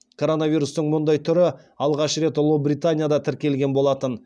коронавирустың мұндай түрі алғаш рет ұлыбританияда тіркелген болатын